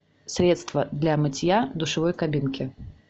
средство для мытья душевой кабинки